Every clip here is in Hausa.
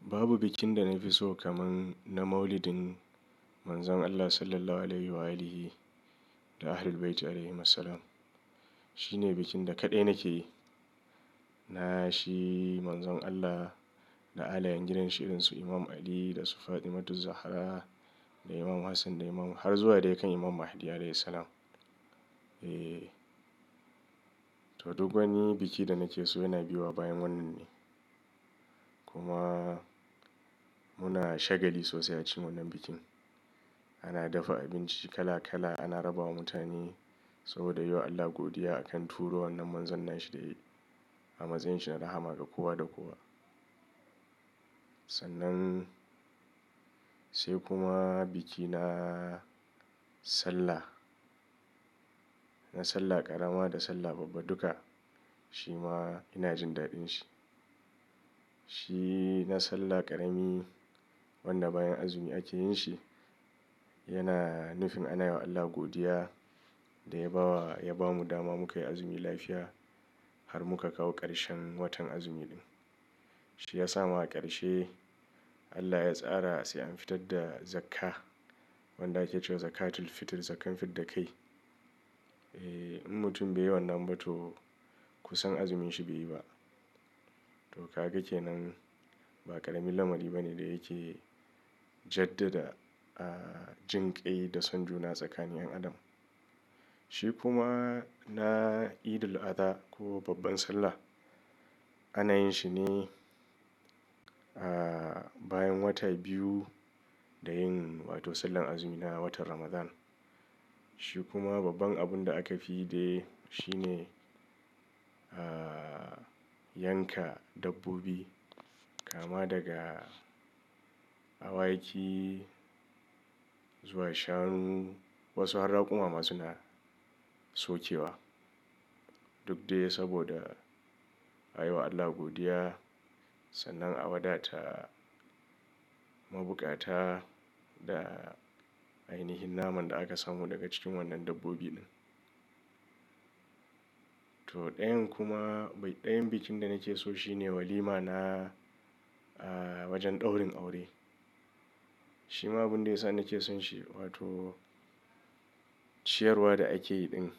Babu bikin da na fi so kaman na Maulidin Manzon Allah Sallallahu Alaihi wa'alihi da Ahlul Bayti Alaihimussalam. Shi ne bikin da kaɗai nake yi. Na shi Manzon Allah da alayan gidan shi, irinsu Imam Ali da su Fatimatu Zahra da Imam Hassan da Imam, har zuwa dai kan Imam Mahdi Alaihis Salam. Eh, to duk wani biki da nake so yana biyowa bayan wannan ne. Kuma muna shagali sosai a cikin wannan bikin. Ana dafa abinci kala kala, ana rabawa mutane saboda yi wa Allah godiya a kan turo wannan Manzon nan shi da yayi a matsayin shi na rahama ga kowa da kowa. Sannan sai kuma biki na Sallah, na Sallah ƙarama da Sallah babba duka, shi ma ina jin daɗin shi. Shi na Sallah ƙarami wanda bayan azumi ake yin shi, yana nufin ana yiwa Allah godiya da ya ba wa, ya ba mu dama mu kayi azumi lafiya har muka kawo ƙarshen watan azumi ɗin. Shi yasa ma a ƙarshe Allah ya tsara sai an fitar da zakka wanda ake cewa zakatul fitr, zakkan fidda kai. Eh, in mutum baiyi wannan ba to kusan azumin shi baiyi ba. To kaga kenan, ba ƙaramin lamari bane da yake jaddada, ah, jinƙai da son juna tsakanin 'yan Adam. Shi kuma na Eidul Adha ko babban Sallah ana yin shine, ah, bayan wata biyu da yin wato Sallar azumi na watan Ramadan. Shi kuma babban abun da aka fi yi dai shine, ah, yanka dabbobi kama daga awaki zuwa shanu, wasu har raƙuma ma suna sokewa. Duk dai saboda a yi wa Allah godiya sannan a wadata mabukata da ai nihin naman da aka samu daga cikin wannan dabbobi ɗin. To ɗayan kuma bai, ɗayan bikin da nake so shi ne walima na, ah, wajen ɗaurin aure. Shi ma abun da ya sa nake son shi wato ciyarwa da ake yi ɗin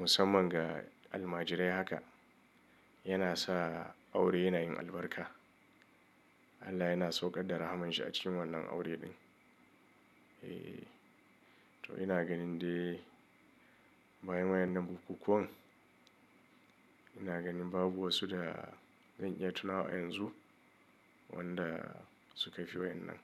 musamman ga almajirai haka yana sa aure yana yin albarka. Allah yana sauƙar da rahaman shi a cikin wannan aure ɗin. Eh, to ina ganin dai bayan wayan nan bukkuƙkuwan ina ganin babu wasu da zan iya tuna wa yanzu wanda suka fi wayan nan.